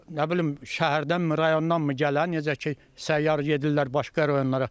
nə bilim şəhərdənmi, rayondanmı gələ, necə ki, səyyar edirlər başqa rayonlara.